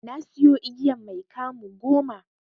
Nasiyo igiyan mai 'kamu' goma.